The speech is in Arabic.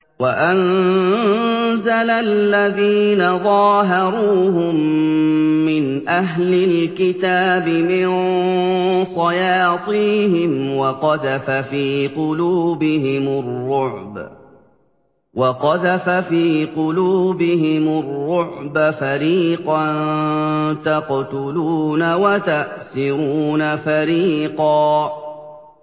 وَأَنزَلَ الَّذِينَ ظَاهَرُوهُم مِّنْ أَهْلِ الْكِتَابِ مِن صَيَاصِيهِمْ وَقَذَفَ فِي قُلُوبِهِمُ الرُّعْبَ فَرِيقًا تَقْتُلُونَ وَتَأْسِرُونَ فَرِيقًا